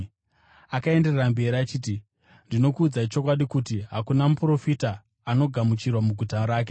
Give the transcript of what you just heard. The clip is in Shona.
Akaenderera mberi achiti, “Ndinokuudzai chokwadi kuti hakuna muprofita anogamuchirwa muguta rake.